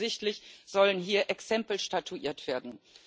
Ganz offensichtlich sollen hier Exempel statuiert werden.